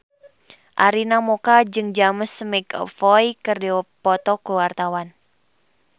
Arina Mocca jeung James McAvoy keur dipoto ku wartawan